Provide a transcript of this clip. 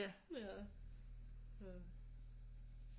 Ja